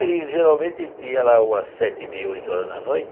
A gente geralmente ia lá umas sete e meia, oito horas da noite.